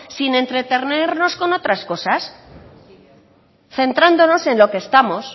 sin entretenernos con otras cosas centrándonos en lo que estamos